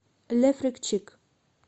ле фрик чик